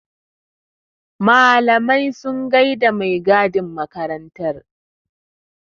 Malamai sun gaida da mai gadin makarantar.